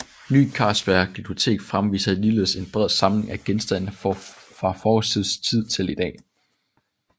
Ny Carlsberg Glyptotek fremviser ligeledes en bred samling af genstande fra forhistorisk tid til i dag